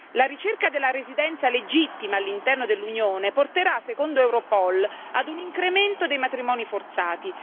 La ricerca della residenza legittima all'interno dell'Unione porterà secondo Europol ad un incremento dei matrimoni forzati.